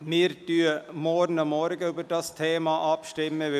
Wir stimmen morgen Vormittag über dieses Geschäft ab.